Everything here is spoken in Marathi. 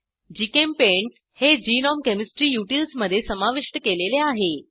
जीचेम्पेंट हे ग्नोम केमिस्ट्री युटिल्स मधे समाविष्ट केलेले आहे